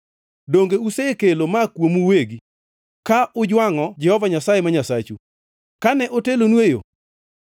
Donge usekelo ma kuomu uwegi, ka ujwangʼo Jehova Nyasaye ma Nyasachu, kane otelonu e yo?